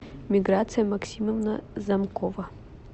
миграция максимовна замкова